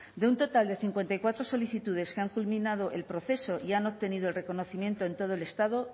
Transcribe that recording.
de un total de cincuenta y cuatro solicitudes que han culminado el proceso y han obtenido el reconocimiento en todo el estado